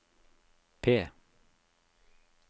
P